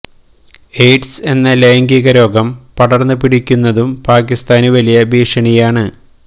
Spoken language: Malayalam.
എയിഡ്സ് എന്ന ലൈംഗിക രോഗം പടർന്ന് പിടിക്കുന്നതും പാക്കിസ്ഥാന് വലിയ ഭീഷണിയാണ്